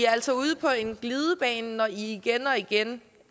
altså ude på en glidebane når i igen og igen